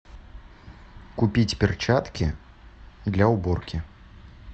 купить перчатки для уборки